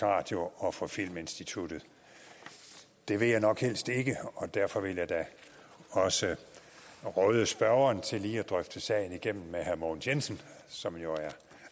radio og for filminstituttet det vil jeg nok helst ikke og derfor vil jeg da også råde spørgeren til lige at drøfte sagen igennem med herre mogens jensen som jo er